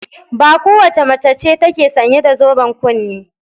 Ba kowace mace ce take sanye da zoben kunne.